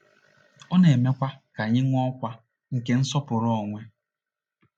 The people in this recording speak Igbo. Ọ na-emekwa ka anyị nwee ọkwa nke nsọpụrụ onwe.